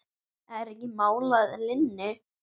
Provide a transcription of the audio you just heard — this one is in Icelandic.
Er ekki mál að linni?